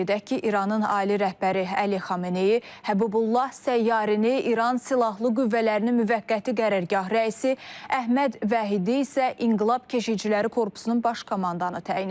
Qeyd edək ki, İranın ali rəhbəri Əli Xameneyi Həbibullah Səyyarını İran Silahlı Qüvvələrinin Müvəqqəti Qərargah rəisi, Əhməd Vahidini isə İnqilab Keşişçiləri Korpusunun baş komandanı təyin edib.